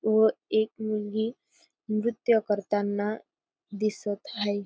व एक मुलगी नृत्य करताना दिसत हायेत.